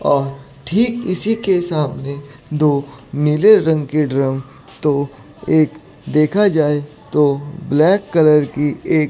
और ठीक इसी के सामने दो नीले रंग के ड्रम तो एक देखा जाए तो ब्लैक कलर की--